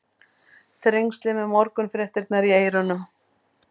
Þrengslin með morgunfréttirnar í eyrunum.